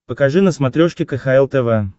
покажи на смотрешке кхл тв